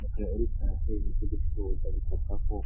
Muke uri koarakoeibi ivyo gucuruza bisaka ko